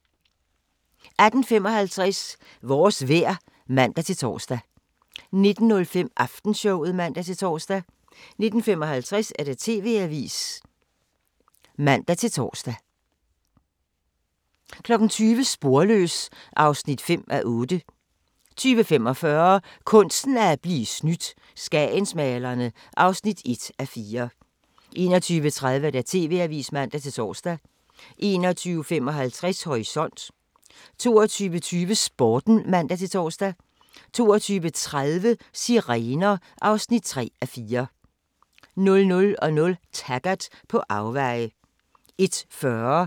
18:55: Vores vejr (man-tor) 19:05: Aftenshowet (man-tor) 19:55: TV-avisen (man-tor) 20:00: Sporløs (5:8) 20:45: Kunsten at blive snydt - skagensmalerne (1:4) 21:30: TV-avisen (man-tor) 21:55: Horisont 22:20: Sporten (man-tor) 22:30: Sirener (3:4) 00:00: Taggart: På afveje